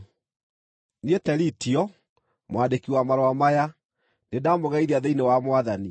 Niĩ Teritio, mwandĩki wa marũa maya, nĩndamũgeithia thĩinĩ wa Mwathani.